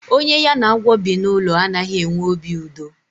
Onye ya na agwọ bi n'ụlọ a naghị enwe obi udo.